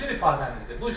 Bu sizin ifadənizdir.